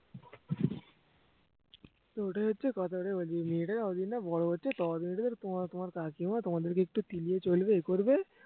তো ওটাই হচ্ছে কথা এবার মেয়েটা যতদিন না বড় হচ্ছে ততদিন এটা তোমার তোমার কাকিমা তোমাদেরকে একটু তেলিয়ে চলবে এ করবে